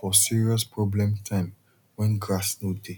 for serious problem time when grass no dey